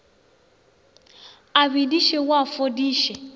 a bediše o a fodiše